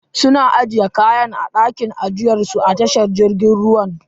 Sun ajiye kayan a dakin ajiyar su a tashar jirgin ruwan.